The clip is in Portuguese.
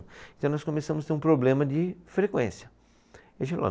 Então nós começamos a ter um problema de frequência. E a gente falou